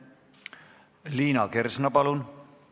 Liina Kersna, palun!